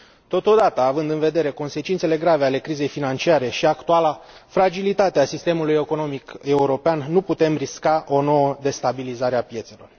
Totodată, având în vedere consecințele grave ale crizei financiare și actuala fragilitate a sistemului economic european, nu putem risca o nouă destabilizare a piețelor.